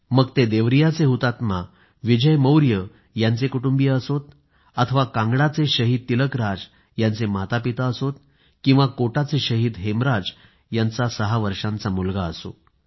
मग ते देवरियाचे हुतात्मा विजय मौर्य यांचे कुटुंबीय असो अथवा कांगडाचे शहीद तिलकराज यांचे मातापिता असो किंवा कोटाचे शहीद हेमराज यांचा सहा वर्षांचा मुलगा असो